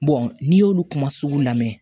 n'i y'olu kuma sugu lamɛn